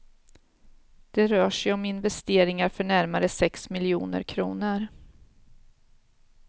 Det rör sig om investeringar för närmare sex miljoner kronor.